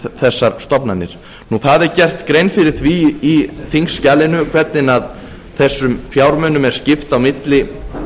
þessar stofnanir það er gerð grein fyrir því í þingskjalinu hvernig þessum fjármunum er skipt á milli